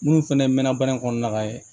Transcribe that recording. Minnu fɛnɛ mɛnna baara in kɔnɔna la yen